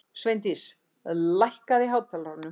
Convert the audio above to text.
Sveindís, lækkaðu í hátalaranum.